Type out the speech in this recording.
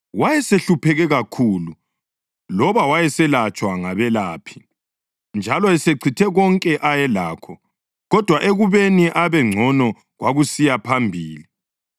Wayesehlupheke kakhulu loba wayeselatshwa ngabelaphi, njalo esechithe konke ayelakho, kodwa ekubeni abe ngcono kwakusiya phambili.